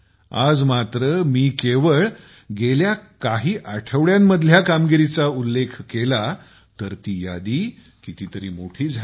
आज मात्रमी केवळ गेल्या काही आठवड्यांतील कामगिरीचा उल्लेख केला तर ती यादी कितीतरी मोठी झाली